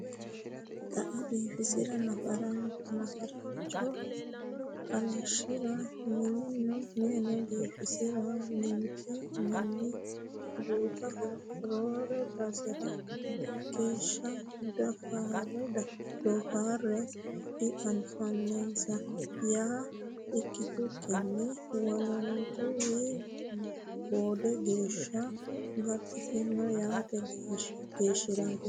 Qae biifisira nafarcho halashira minino biifisira ninke manni guttaho roore basera hakeeshsha doofare dianfaninsa yaa ikkitukkinni wolootuwi boode geeshsha baxxittano yaate geeshshirati.